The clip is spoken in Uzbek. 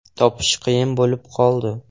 Topish qiyin bo‘lib qoldi.